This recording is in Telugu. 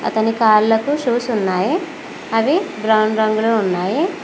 అతని కాళ్ళకు షూస్ ఉన్నాయి అవి బ్రౌన్ రంగులో ఉన్నాయి.